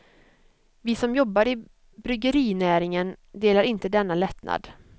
Vi som jobbar i bryggerinäringen delar inte denna lättnad.